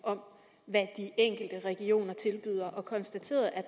om hvad de enkelte regioner tilbyder og konstateret at